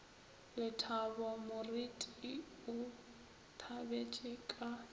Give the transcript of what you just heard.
lethabo moreti o thabetše ka